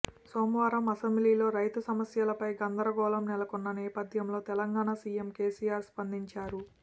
సోమవారం అసెంబ్లీలో రైతు సమ్యస్యలపై గందరోగళం నెలకొన్న నేపపథ్యంలో తెలంగాణ సీఎం కేసీఆర్ స్పందించారు